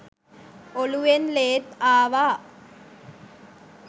ඔළුවෙන් ලේත් ආවා.